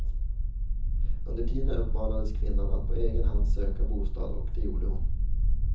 Under tiden uppmanades kvinnan att på egen hand söka bostad och det gjorde hon.